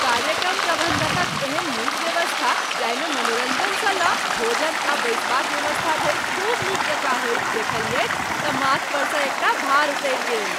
कार्यक्रम प्रबंधकक एहन नीक व्यवस्था जाहिमे मनोरञ्जनसँ लऽ भोजन आ बैसबाक व्यवस्था धरि खूब नीक जकाँ होइत देखलियैक तँ माथ परसँ एकटा भार उतरि गेल।